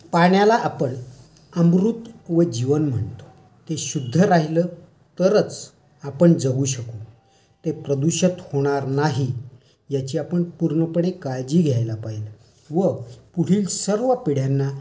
पाण्याला आपण अमृत व जीवन म्हणतो. ते शुध्द्ध राहिलं तरच आपण जगू शकू. ते प्रदूषित होणार नाही याची आपण पुर्णपणे काळजी घ्यायला पाहिजे. व पुढील सर्व पिढ्यांना